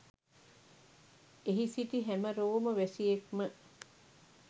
එහි සිටි හැම රෝම වැසියෙක්ම